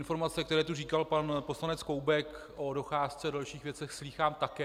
Informace, které tu říkal pan poslanec Koubek o docházce a dalších věcech, slýchám také.